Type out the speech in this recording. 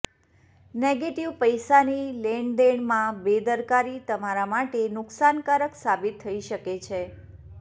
negative પૈસાની લેણદેણમાં બેદરકારી તમારા માટે નુકસાનકારક સાબિત થઈ શકે છે